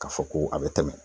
K'a fɔ ko a be tɛmɛ.